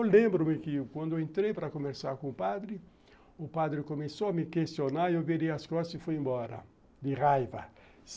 Eu lembro-me que quando eu entrei para conversar com o padre, o padre começou a me questionar, eu virei as costas e fui embora, de raiva.